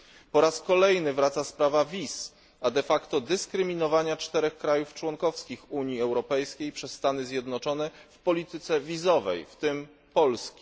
Po raz kolejny wraca sprawa wiz, a de facto dyskryminowania czterech państw członkowskich Unii Europejskiej przez Stany Zjednoczone w polityce wizowej, w tym Polski.